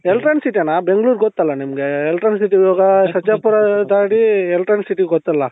Electronic city ಅಣ್ಣ ಬೆಂಗಳೂರು ಗೊತ್ತಲ್ಲ ನಿಮ್ಗೆ Electronic city ಹೋಗೋ ಸರ್ಜಾಪುರ ದಾಟಿ ನಿಮ್ಗೆ Electronic city ಗೊತ್ತಲ್ಲ